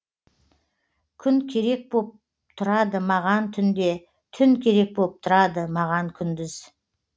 күн керек боп тұрады маған түнде түн керек боп тұрады маған күндіз